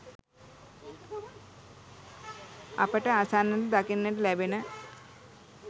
අපට අසන්නට දකින්නට ලැබෙන